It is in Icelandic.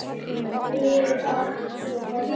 Við áttum svo margt eftir.